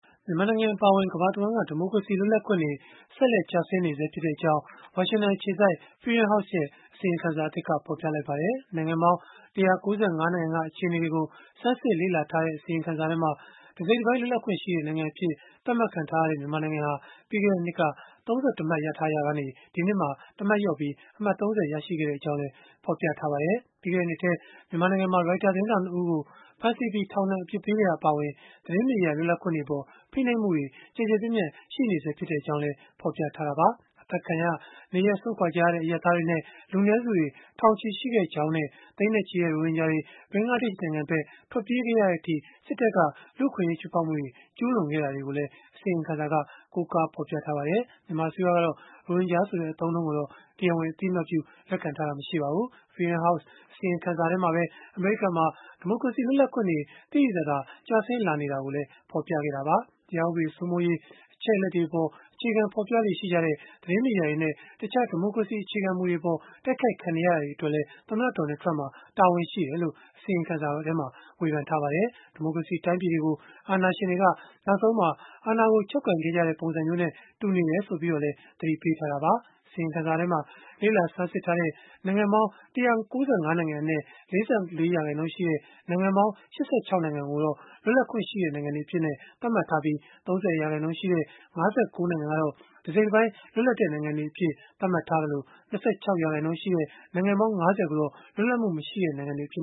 မြန်မာနိုင်ငံ အပါအဝင် ကမ္ဘာတဝန်း ဒီမိုကရေစီ လွတ်လပ်ခွင့်တွေ ဆက်လက် ကျဆင်းနေဆဲဖြစ်ကြောင်း ဝါရှင်တန်အခြေစိုက် Freedom House ရဲ့ အစီရင်ခံစာသစ်က ဖော်ပြလိုက်ပါတယ်။ နိုင်ငံပေါင်း ၁၉၅ နိုင်ငံက အခြေအနေတွေကို ဆန်းစစ်လေ့လာထားတဲ့ အစီရင်ခံစာမှာ တစိတ်တပိုင်း လွတ်လပ်ခွင့်ရှိတဲ့ နိုင်ငံအဖြစ် သတ်မှတ်ထားတဲ့ မြန်မာနိုင်ငံဟာ ပြီးခဲ့တဲ့နှစ်က ၃၁ မှတ်ရထားရာက ဒီနှစ်မှာ တမှတ်လျော့ပြီး အမှတ် ၃၀ ရရှိခဲ့ကြောင်း ဖော်ပြထားပါတယ်။ ပြီးခဲ့တဲ့နှစ်ထဲ မြန်မာနိုင်ငံမှာ Reuters သတင်းထောက် ၂ ဦးကို ဖမ်းဆီးပြီး ထောင်ဒဏ် အပြစ်ပေးခဲ့တာ အပါအဝင် သတင်းမီဒီယာ လွတ်လပ်ခွင့်တွေအပေါ် ဖိနှိပ်မှုတွေ ကျယ်ကျယ်ပြန့်ပြန့် ရှိနေဆဲဖြစ်ကြောင်း ဖော်ပြခဲ့တာပါ။ အသတ်ခံရ၊ နေရပ်စွန့်ခွာကြရတဲ့ အရပ်သားတွေနဲ့ လူနည်းစုတွေ ထောင်ချီရှိခဲ့ကြောင်းနဲ့ သိန်းနဲ့ချီတဲ့ ရိုဟင်ဂျာတွေ ဘင်္ဂလားဒေ့ရှ် နိုင်ငံဘက် ထွက်ပြေးခဲ့ရတဲ့အထိ စစ်တပ်က လူ့အခွင့်အရေး ချိုးဖောက်မှုတွေ ကျုးလွန်ခဲ့တာတွေကိုလည်း အစီရင်ခံစာက ကိုးကားဖော်ပြထားပါတယ်။ Freedom House အစီရင်ခံစာမှာပဲ အမေရိကန်မှာ ဒီမိုကရေစီ လွတ်လပ်ခွင့်တွေ သိသိသာသာ ကျဆင်းလာတာကိုလည်း ဖော်ပြခဲ့တာပါ။ တရားဥပဒေ စိုးမိုးရေး၊ အချက်အလက်တွေအပေါ် အခြေခံဖော်ပြတဲ့ သတင်းမီဒီယာတွေနဲ့ တခြား ဒီမိုကရေစီ အခြေခံမူတွေအပေါ် တိုက်ခိုက်ခံနေရတာတွေအတွက်လည်း သမ္မတ Donald Trump မှာ တာဝန်ရှိတယ်လို့ ဝေဖန်ထားပါတယ်။ ဒီမိုကရေစီ တိုင်းပြည်တွေကို အာဏာရှင်တွေက နောက်ဆုံးမှာ အာဏာကိုချုပ်ကိုင်ခဲ့ကြတဲ့ ပုံစံမျိုးနဲ့ တူနေတယ်လို့လည်း သတိပေးထားတာပါ။ အစီရင်ခံစာမှာ လေ့လာ ဆန်းစစ်ထားတဲ့ နိုင်ငံပေါင်း ၁၉၅ နိုင်ငံအနက် ၄၄ ရာခိုင်နှုန်းရှိတဲ့၊ နိုင်ငံပေါင်း ၈၆ နိုင်ငံကိုတော့ လွတ်လပ်ခွင့်ရှိတဲ့ နိုင်ငံတွေအဖြစ် သတ်မှတ်ထားပြီး၊ ၃၀ ရာခိုင်နှုန်း ၅၉ နိုင်ငံကတော့ တစိတ်တပိုင်းလွတ်လပ်တဲ့နိုင်ငံတွေအဖြစ် သတ်မှတ်ထားသလို၊ ၂၆ ရာခိုင်နှုန်း နိုင်ငံပေါင်း ၅၀ ကိုတော့ လွတ်လပ်မှုမရှိတဲ့ နိုင်ငံတွေအဖြစ်